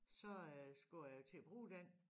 så øh skulle jegt il at bruge den